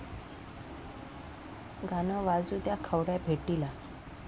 गाणं वाजू द्या...'ख्वाडा' भेटीला